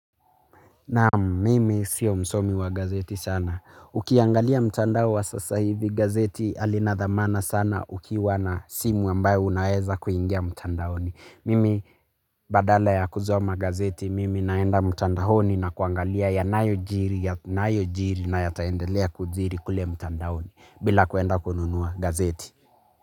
Naam, mimi sio msomi wa gazeti sana. Ukiangalia mtandao wa sasa hivi gazeti halina dhamana sana ukiwa na simu ambayo unaweza kuingia mtandaoni. Mimi badala ya kusoma gazeti mimi naenda mtandaoni na kuangalia ya nayojiri na yataendelea kujiri kule mtandaoni bila kuenda kununua gazeti.